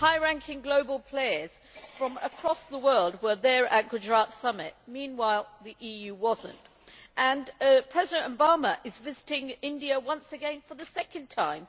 High ranking global players from across the world were there at the Gujarat Summit. Meanwhile the EU was not. President Obama is visiting India once again, for the second time.